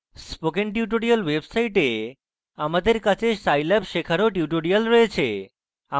spoken tutorials website আমাদের কাছে scilab শেখারও tutorials রয়েছে